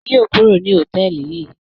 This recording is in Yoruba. Ṣèyí yóò kúrò ní hòtẹ́ẹ́lì yìí